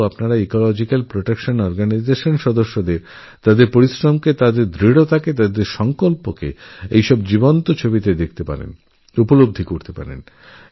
তাঁদের আমি বলবো ইকোলজিক্যালপ্রটেকশন অর্গানাইজেশন এর তরুণতরুণীদের শ্রমসংকল্প জেদ সজীবতা ছবিতে কীভাবে প্রতিফলিত হয়েছে তা দেখুন